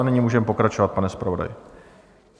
A nyní můžeme pokračovat, pane zpravodaji.